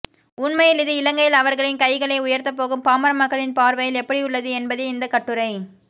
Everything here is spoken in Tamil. உண்மையில் இது இலங்கையில் அவர்களின் கைகளை உயர்தப்போகும் பாமர மக்களின் பார்வையில் எப்படியுள்ளது என்பதே இந்தக் கட்டுரை